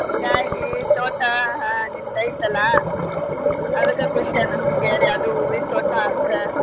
ಹಿಂಗಾಗಿ ತೋಟಾ ಹಾ ನಿಮ್ದ್ ಐತೆಲ್ಲ ಅದ್ಕ ಖುಷಿ ಅನ್ನುಸ್ತು ಕೇಳಿ ಅದೂ ಹೂವೀನ್ ತೋಟ ಅಂದ್ರ.